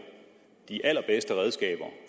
de allerbedste redskaber